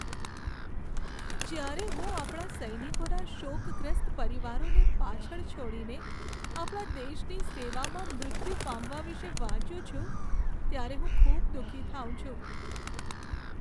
જ્યારે હું આપણા સૈનિકોના શોકગ્રસ્ત પરિવારોને પાછળ છોડીને આપણા દેશની સેવામાં મૃત્યુ પામવા વિશે વાંચું છું, ત્યારે હું ખૂબ દુઃખી થાઉં છું.